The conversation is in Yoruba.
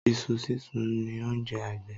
Iṣu sísun ni oúnjẹ agbẹ̀